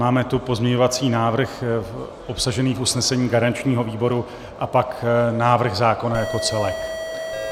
Máme tu pozměňovací návrh obsažený v usnesení garančního výboru a pak návrh zákona jako celek.